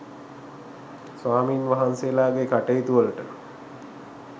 ස්වාමීන් වහන්සේලාගේ කටයුතු වලට